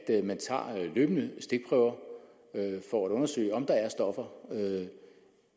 løbende tager stikprøver for at undersøge om der er stoffer